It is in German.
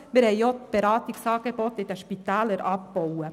Auch wurden die Beratungsangebote in den Spitälern abgebaut.